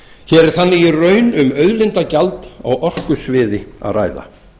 hér er þannig í raun um auðlindagjald á orkusviði um að ræða